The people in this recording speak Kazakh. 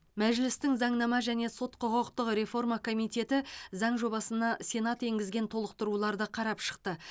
мәжілістің заңнама және сот құқықтық реформа комитеті заң жобасына сенат енгізген толықтыруларды қарап шықты